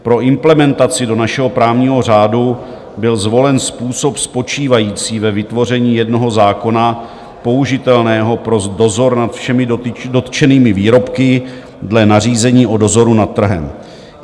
Pro implementaci do našeho právního řádu byl zvolen způsob spočívající ve vytvoření jednoho zákona použitelného pro dozor nad všemi dotčenými výrobky dle nařízení o dozoru nad trhem.